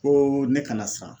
Koo ne kana siran